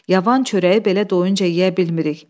Yavan çörəyi belə doyunca yeyə bilmirik.